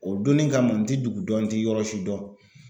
O donnin kama n ti dugu dɔn n ti yɔrɔ si dɔn.